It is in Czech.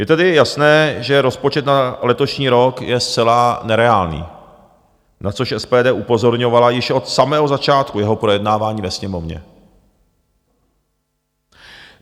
Je tedy jasné, že rozpočet na letošní rok je zcela nereálný, na což SPD upozorňovala již od samého začátku jeho projednávání ve Sněmovně.